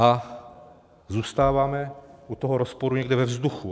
A zůstáváme u toho rozporu někde ve vzduchu.